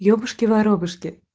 ебушки-воробушки